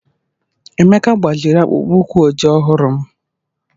Emeka gbaziri akpụkpọ ụkwụ ojii ọhụrụ m